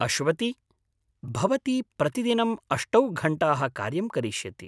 अश्वति, भवती प्रतिदिनं अष्टौ घण्टाः कार्यं करिष्यति।